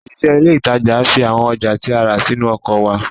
Òṣìṣẹ́ ilé ìtajà fi àwọn ọjà tí a rà sínú ọkọ̀ wa